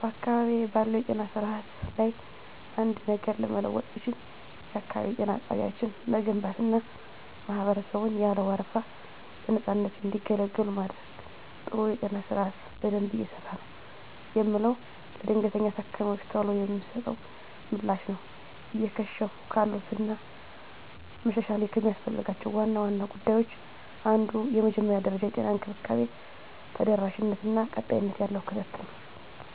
*በአካባቢዬ ባለው የጤና ስርዓት ላይ አንድ ነገር ለመለወጥ ብችል፣ *የአካባቢ ጤና ጣቢያዎችን መገንባትና ማህበረሰቡን ያለ ወረፋ በነፃነት እንዲገለገሉ ማድረግ። *ጥሩ የጤና ስርዓት በደንብ እየሰራ ነው የምለው፦ ለድንገተኛ ታካሚወች ቶሎ የሚሰጠው ምላሽ ነው። *እየከሸፉ ካሉት እና መሻሻል ከሚያስፈልጋቸው ዋና ዋና ጉዳዮች አንዱ የመጀመሪያ ደረጃ የጤና እንክብካቤ ተደራሽነት እና ቀጣይነት ያለው ክትትል ነው።